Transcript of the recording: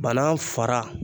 Banan fara